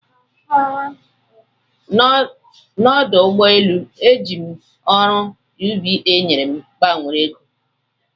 N'ọdụ ụgbọ elu, ejiri m ọrụ UBA nyere m gbanwere ego.